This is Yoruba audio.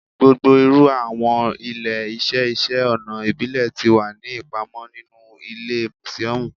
Gbogbo iru awọn ile-iṣẹ iṣẹ ọna ibile ti wa ni ipamọ ninu ile musiọmu